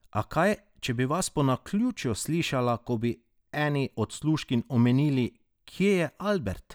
A kaj, če bi vas po naključju slišala, ko bi eni od služkinj omenili, kje je Albert?